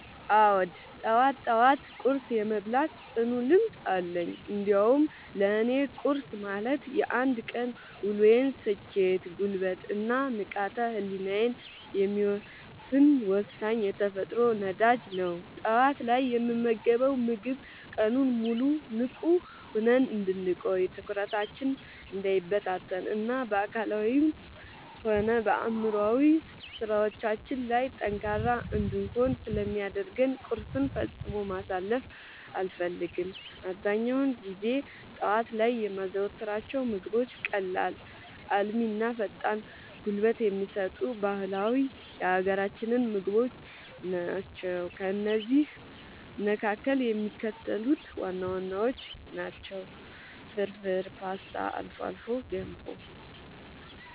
አዎ፣ ጠዋት ጠዋት ቁርስ የመብላት ጽኑ ልምድ አለኝ። እንዲያውም ለእኔ ቁርስ ማለት የአንድ ቀን ውሎዬን ስኬት፣ ጉልበት እና ንቃተ ህሊናዬን የሚወሰን ወሳኝ የተፈጥሮ ነዳጅ ነው። ጠዋት ላይ የምንመገበው ምግብ ቀኑን ሙሉ ንቁ ሆነን እንድንቆይ፣ ትኩረታችን እንዳይበታተን እና በአካላዊም ሆነ በአእምሯዊ ስራዎቻችን ላይ ጠንካራ እንድንሆን ስለሚያደርገን ቁርስን ፈጽሞ ማሳለፍ አልፈልግም። አብዛኛውን ጊዜ ጠዋት ላይ የማዘወትራቸው ምግቦች ቀላል፣ አልሚ እና ፈጣን ጉልበት የሚሰጡ ባህላዊ የሀገራችንን ምግቦች ናቸው። ከእነዚህም መካከል የሚከተሉት ዋና ዋናዎቹ ናቸው፦ ፍርፍር: ፖስታ: አልፎ አልፎ ገንፎ